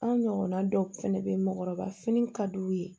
An ɲɔgɔnna dɔw fɛnɛ be yen mɔɔkɔrɔba fini ka d'u ye